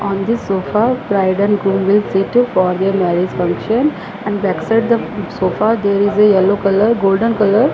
on this sofa bride and groom will sit for their marriage function and back side the sofa there is a yellow colour golden colour --